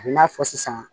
A n'a fɔ sisan